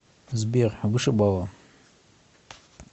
сбер вышибала